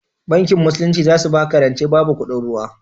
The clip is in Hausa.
Bankin musulunci zasu baka rance babu kuɗin ruwa